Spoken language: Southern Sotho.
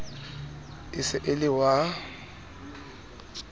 e se e le wa